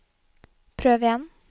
prøv igjen